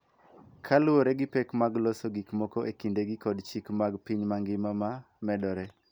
Kaluwore gi pek mag loso gik moko e kindegi kod chike mag piny mangima ma medore.